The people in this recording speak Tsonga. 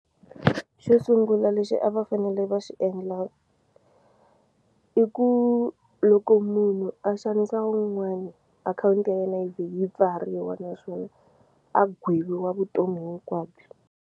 Xo sungula lexi a va fanele va xi endla i ku loko munhu a xanisa wun'wani akhawunti ya yena yi vhe yi pfariwa naswona a gweviwa vutomi hinkwabyo.